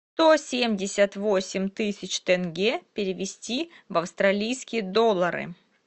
сто семьдесят восемь тысяч тенге перевести в австралийские доллары